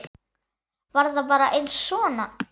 Var það bara aðeins svona?